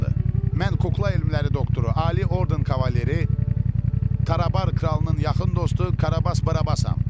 Mən kukla elmləri doktoru, ali orden kavaleri, Tarabar kralının yaxın dostu Karabas Barabasam.